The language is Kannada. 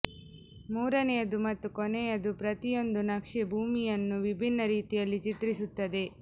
ಮೂರನೆಯದು ಮತ್ತು ಕೊನೆಯದು ಪ್ರತಿಯೊಂದು ನಕ್ಷೆ ಭೂಮಿಯನ್ನು ವಿಭಿನ್ನ ರೀತಿಯಲ್ಲಿ ಚಿತ್ರಿಸುತ್ತದೆ